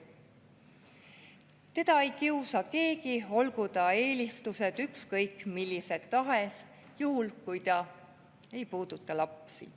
Teda ei kiusa keegi, olgu ta eelistused ükskõik millised tahes, juhul kui ta ei puuduta lapsi.